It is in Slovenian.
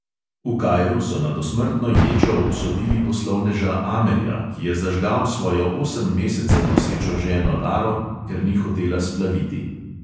V kairu so na dosmrtno ječo obsodili poslovneža amerja, ki je zažgal svojo osem mesecev nosečo ženo laro, ker ni hotela splaviti.